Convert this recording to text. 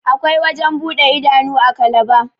akwai wajen buɗe idanu a kalaba